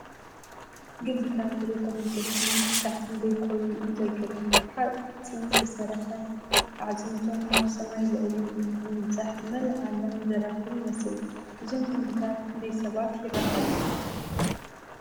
ግምብታት ቴሌኮሙኒኬሽን ክሳዕ ክንደይ ኰን እዩ ዘገርም! ብሓጺን ዝተሰርሐ ኣዕጽምቶም ናብ ሰማይ ልዕል ኢሉ ብምብጻሕ ንመላእ ዓለም ዘራኽብ ይመስል። እዞም ግምብታት ክንደይ ሰባት ይራኸቡ?